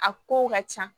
A ko ka ca